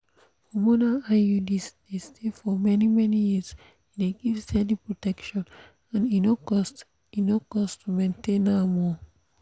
hormonal iuds dey stay for many-many years. e dey give steady protection and e no cost e no cost to maintain am. um